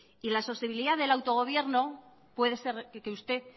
y la sostenibilidad del autogobierno puede ser que usted